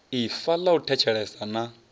ifa ḽa u thetshelesa na